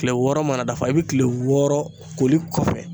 Kile wɔɔrɔ mana dafa i bi kile wɔɔrɔ koli kɔfɛ